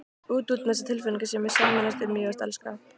Út, út með þessa tilfinningasemi: sameinast, umvefjast, elska.